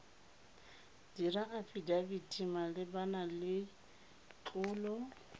dira afidafiti malebana le tlolo